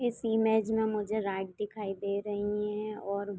इस इमेज में मुझे दिखाई दे रहीं हैं और --